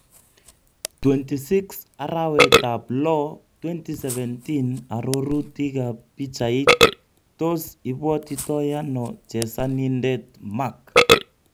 26 arawet ab loo 2017 arorutik ab pichait, tos ibwotitoi ano chesanindet Mark?